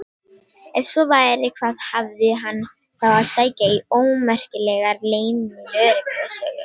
Ef svo væri, hvað hafði hann þá að sækja í ómerkilegar leynilögreglusögur?